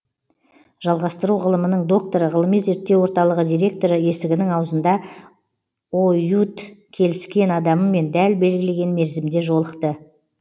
жалғастыру ғылымының докторы ғылыми зерттеу орталығы директоры есігінің аузында оюут келіскен адамымен дәл белгілеген мерзімде жолықты